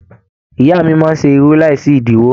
Ìyá máa n ṣe irú láì sí idiwọ.